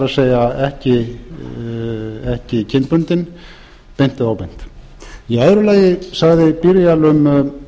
það er ekki kynbundinn beint eða óbeint í öðru lagi sagði byrial um